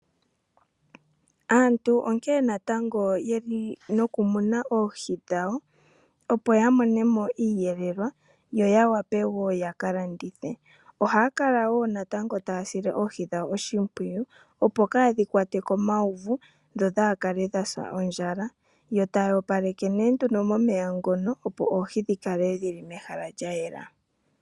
Aantu onkene natango yeli no kumuna oohi dhawo, opo ya monemo iiyelelwa, yo ya wape woo ya kalandithe. Ohaya kala woo natango taya sile oohi dhawo oshimpwiyu, opo kadhi kwatwe komauvu dho dhaa kale dhasa ondjala, yo taya opaleke nee nduno momeya ngono opo oohi dhi kale dhili mehala lya yela.